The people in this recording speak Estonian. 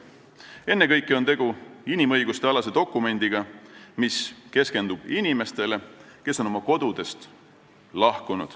Ennekõike on tegu inimõigustealase dokumendiga, mis keskendub inimestele, kes on oma kodust lahkunud.